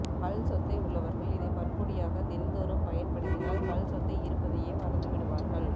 பல் சொத்தை உள்ளவர்கள் இதை பற்பொடியாக தினந்தோறும் பயன்படுத்தினால் பல் சொத்தை இருப்பதையே மறந்துவிடுவார்கள்